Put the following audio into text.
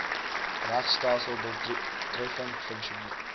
regstelsel doeltreffend funksioneer